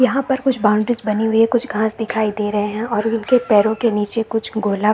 यहाँ पर कुछ बाउंड्रीज बनी हुई है कुछ घास दिखाई दे रहे है और इनके पैरो के नीचे कुछ गोला --